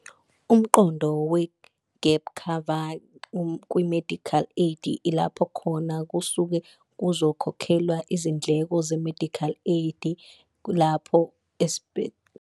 Umqondo we-gap cover kwi-medical aid, ilapho khona kusuke kuzokhokhelwa izindleko ze-medical aid lapho .